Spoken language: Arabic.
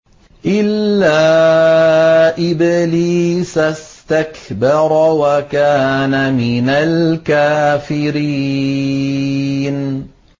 إِلَّا إِبْلِيسَ اسْتَكْبَرَ وَكَانَ مِنَ الْكَافِرِينَ